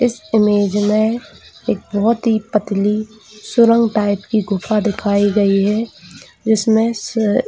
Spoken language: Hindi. इस इमेज में एक बहुत ही पतली सुरंग टाइप की गुफा दिखाई गई है जिसमे स--